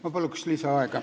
Ma palun lisaaega!